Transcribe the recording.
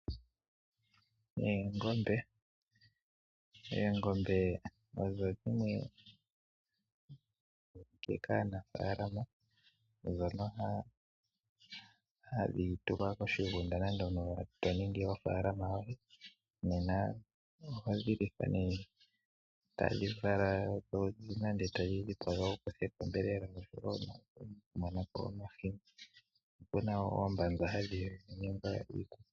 Oongombe Oongombe odho dhimwe ndhoka aanafaalama haya tula koshigunda nenge to ningi ofaalama yoye. Ohadhi lithwa, tadhi vala nenge to dhi dhipaga wu kuthe ko onyama nenge omahini. Oku na wo oombanza hadhi ningwa iikutu.